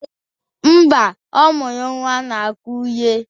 Mba, ọ mụrụ nnwa na Akụre.